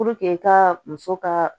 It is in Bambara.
ka muso ka